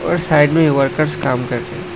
और साइड में वर्कर्स काम कर रहे हैं।